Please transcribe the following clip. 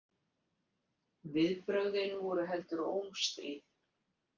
Viðbrögðin voru heldur ómstríð.